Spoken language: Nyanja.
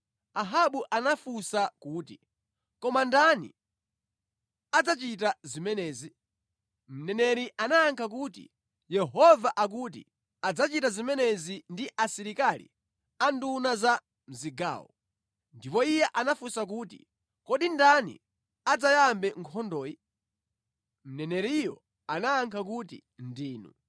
Ahabu anafunsa kuti, “Koma ndani adzachita zimenezi?” Mneneri anayankha kuti, “Yehova akuti, ‘Adzachita zimenezi ndi asilikali a nduna za mʼzigawo.’ ” Ndipo iye anafunsa kuti, “Kodi ndani adzayambe nkhondoyi?” Mneneriyo anayankha kuti, “Ndinu.”